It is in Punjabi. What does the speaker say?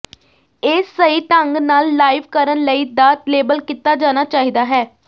ਇਹ ਸਹੀ ਢੰਗ ਨਾਲ ਲਾਈਵ ਕਰਨ ਲਈ ਦਾ ਲੇਬਲ ਕੀਤਾ ਜਾਣਾ ਚਾਹੀਦਾ ਹੈ